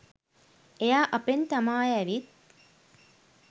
එයා අපෙන් තමාය ඇවිත්